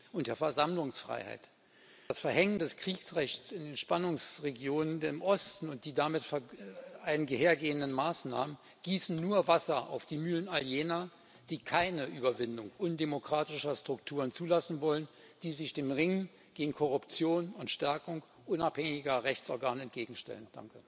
und der Versammlungsfreiheit, das Verhängen des Kriegsrechts in den Spannungsregionen im Osten und die damit einhergehenden Maßnahmen gießen nur Wasser auf die Mühlen all jener, die keine Überwindung undemokratischer Strukturen zulassen wollen, die sich dem Ringen gegen Korruption und Stärkung unabhängiger Rechtsorgane entgegenstellen.